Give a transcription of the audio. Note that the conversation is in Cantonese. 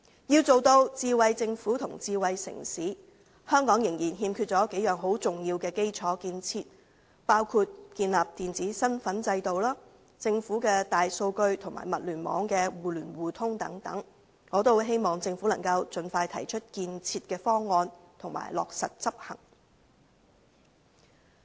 要成為智慧政府和智慧城市，香港仍然欠缺幾項重要基礎建設，包括建立電子身份制度、政府大數據及物聯網的互聯互通等，我希望政府能盡快提出建設方案及落實執行。